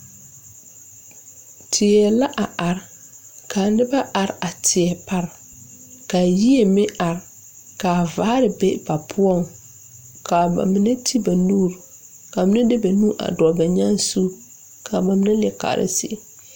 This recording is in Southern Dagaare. Teɛ la a are ka nobɔ are a teɛ pare ka yie meŋ are ka vaare be ba poɔŋ kaa ba mine ti ba nuure ka mine de ba nuure a dɔɔle ba nyaa zu kaa ba nine leɛ kaara zie.